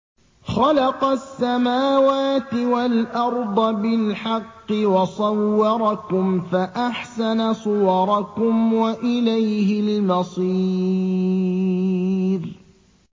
خَلَقَ السَّمَاوَاتِ وَالْأَرْضَ بِالْحَقِّ وَصَوَّرَكُمْ فَأَحْسَنَ صُوَرَكُمْ ۖ وَإِلَيْهِ الْمَصِيرُ